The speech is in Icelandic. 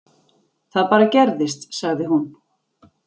Það bara gerðist, sagði hún.